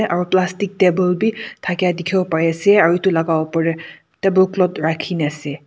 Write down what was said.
aro plastic table bhi thakia dikhibo para ase aru etu laga upar teh table cloth rakhi na ase.